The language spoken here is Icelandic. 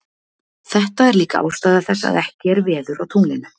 þetta er líka ástæða þess að ekki er veður á tunglinu